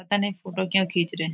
पता नहीं फोटो क्यों खींच रहे हैं।